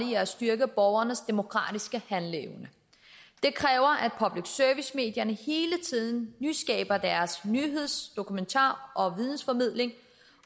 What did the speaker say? i at styrke borgernes demokratiske handleevne det kræver at public service medierne hele tiden nyskaber deres nyheds dokumentar og vidensformidling